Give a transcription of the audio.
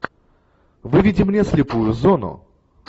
выведи мне слепую зону